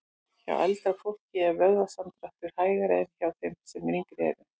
Hjá eldra fólki er vöðvasamdráttur hægari en hjá þeim sem yngri eru.